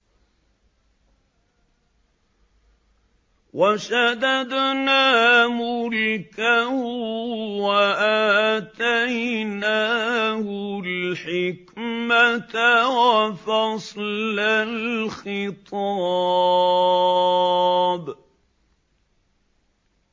وَشَدَدْنَا مُلْكَهُ وَآتَيْنَاهُ الْحِكْمَةَ وَفَصْلَ الْخِطَابِ